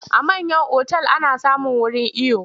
A manyan otal ana samun wurin iyo.